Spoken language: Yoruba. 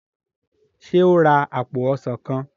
ṣe o rà apo ọsán kán?